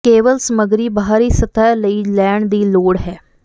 ਕੇਵਲ ਸਮੱਗਰੀ ਬਾਹਰੀ ਸਤਹ ਲਈ ਲੈਣ ਦੀ ਲੋੜ ਹੈ